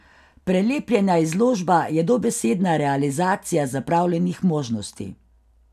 Prelepljena izložba je dobesedna realizacija zapravljenih možnosti.